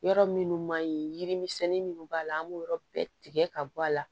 Yɔrɔ minnu man ɲi yiri misɛnnin minnu b'a la an b'o yɔrɔ bɛɛ tigɛ ka bɔ a la